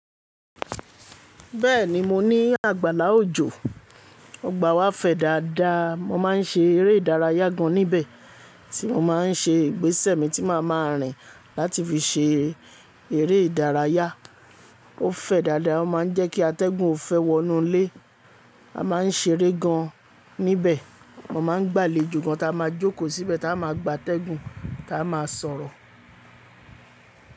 Bẹ́ẹ̀ni mó ní àgbàlá òjò, ọgbà wá fẹ̀ dáadáa. Mó máa ń ṣe eré ìdárayá gan níbẹ̀, tí mó máa ń ṣe ìgbésẹ̀ mi tí màá máa rìn láti fi ṣe eré ìdárayá. Ó fẹ̀ dáadáa, ó máa ń jẹ́ kí atẹ́gùn ó fẹ́ wọnú lé. A máa ń ṣeré gan níbẹ̀. Wọ́n máa ń gbà lé jù gaàn tí a máa jókòó síbẹ̀, tí a máa gba atẹ́gùn, tí a máa sọ̀rọ̀.